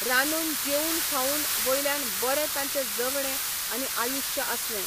रांदून जेवून खावून वयल्यान बरें तांचें जगणें आनी आयुश्य आसलें.